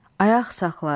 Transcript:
Ayaq saxla,